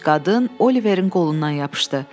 Gənc qadın Oliverin qolundan yapışdı.